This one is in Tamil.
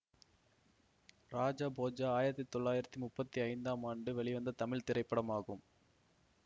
ராஜ போஜ ஆயிரத்தி தொளாயிரத்தி முப்பத்தி ஐந்து ஆம் ஆண்டு வெளிவந்த தமிழ் திரைப்படமாகும்